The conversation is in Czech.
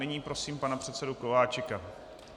Nyní prosím pana předsedu Kováčika.